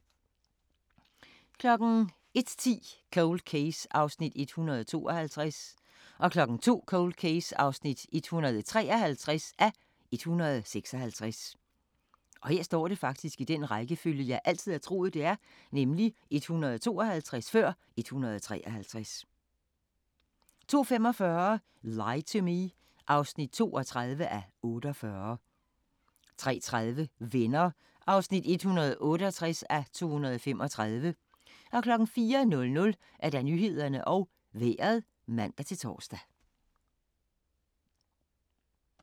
01:10: Cold Case (152:156) 02:00: Cold Case (153:156) 02:45: Lie to Me (32:48) 03:30: Venner (168:235) 04:00: Nyhederne og Vejret (man-tor)